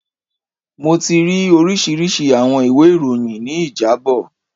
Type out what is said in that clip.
Mo ti ri orisirisi awọn iwe iroyin ni ijabọ